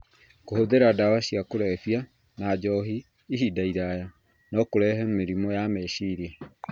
Kũhũthĩra ndawa cia kũrebia na njohi ihinda iraya no kũrehe mĩrimũ ya meciria.